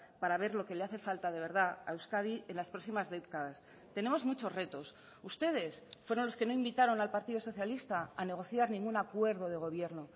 para ver lo que le hace falta de verdad a euskadi en las próximas décadas tenemos muchos retos ustedes fueron los que no invitaron al partido socialista a negociar ningún acuerdo de gobierno